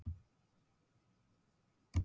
Karl er enn á lífi og á heima á Eskifirði.